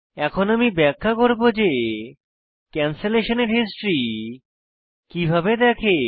এখন আমি ব্যাখ্যা করব যে ক্যানসলেশনের হিস্ট্রি কিভাবে দেখে